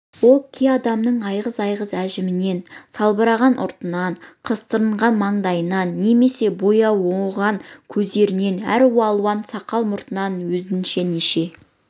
ол кей адамның айғыз-айғыз әжімінен салбыраған ұртынан қыртыстанған маңдайынан немесе бояуы оңған көздерінен әр алуан сақал-мұртынан өзінше неше